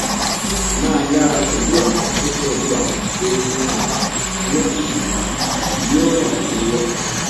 máa yára pẹlú àwọn tó pẹlú àwọn tó ń rìn fún ìlera yóó ràn ẹ lọwọ